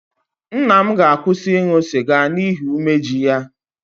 Nna m ga-akwụsị ịṅụ sịga n'ihi umeji ya